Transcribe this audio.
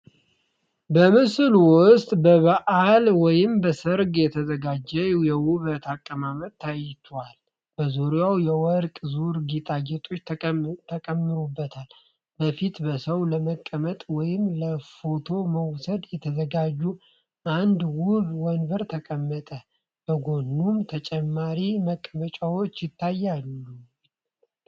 በምስሉ ውስጥ በበዓል ወይም በሰርግ የተዘጋጀ የውበት አቀማመጥ ታይቷል። በዙሪያውም የወርቅ ዙር ጌጣጌጦች ተጨመሩበት። በፊት በሰው ለመቀመጥ ወይም ለፎቶ መውሰድ የተዘጋጀ አንድ ውብ ወንበር ተቀመጠ፣ በጎኑም ተጨማሪ መቀመጫዎች ታይተዋል።